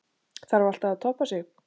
Þarf alltaf að toppa sig?